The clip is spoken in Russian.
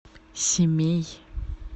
семей